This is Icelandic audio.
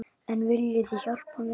En viljið þið hjálpa mér?